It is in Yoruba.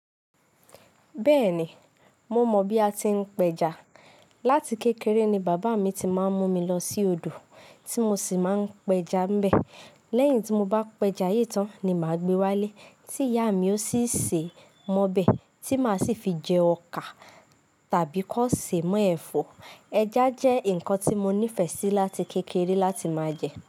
Bẹ́ẹ̀ni, mo mọ̀ bí a ti ń pẹja. Láti kékeré ni bàbá mi ti máa ń mú mi lọ sí odò tí mo sì máa ń pẹja ńbẹ̀. Lẹ́yìn tí mo bá pẹja yè tán ni màá gba wálé, tí ìyá mi ó sì sé m'ọ́bẹ̀, tí màá sì fi jẹ ọkà tàbí kó sè mọ́ ẹ̀fọ́. Ẹja jẹ́ ǹkan tí mo nífẹ̀ẹ́ sí láti kékeré láti máa jẹ.